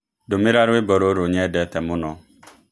ndũmĩra rwĩmbo rũrũ nyendete mũno